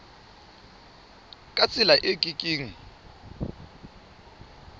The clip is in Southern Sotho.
ka tsela e ke keng